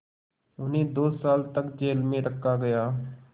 उन्हें दो साल तक जेल में रखा गया